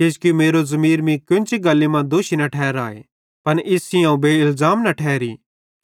किजोकि मेरो ज़मीर मीं कोन्ची गल्ली मां दोषी न ठहराए पन इस सेइं अवं बेइलज़ाम न ठहरी